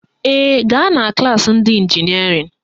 Ee, gaa na klaasị ndị ịnjinịerịn